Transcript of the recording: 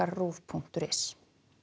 RÚV punktur is